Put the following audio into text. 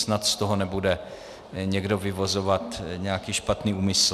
Snad z toho nebude někdo vyvozovat nějaký špatný úmysl.